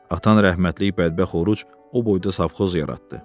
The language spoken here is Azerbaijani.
Atan rəhmətlik bədbəxt Oruc o boyda savxoz yaratdı.